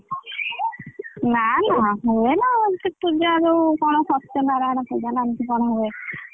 ନା ନା ହୁଏ ନା ଏମିତି ପୂଜା ଯୋଉ ଜଣ ସତ୍ୟନାରାୟଣ ପୂଜା ନା କଣ ଏମିତି ହୁଏ?